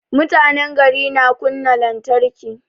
Mutanen gari na kunna lantarki